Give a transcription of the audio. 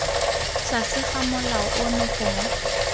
tlase ga molao ono gongwe